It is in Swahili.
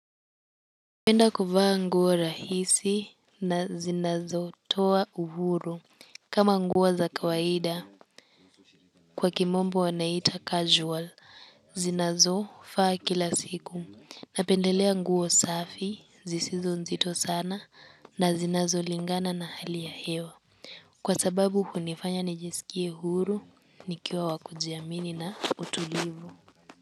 Napenda kuvaa nguo rahisi na zinazotoa uhuru kama nguo za kawaida kwa kimombo wanaita casual zinazofaa kila siku. Napendelea nguo safi zisinzo nzito sana na zinazolingana na hali ya hewa kwa sababu hunifanya nijisikie huru nikiwa wakujiamini na utulivu.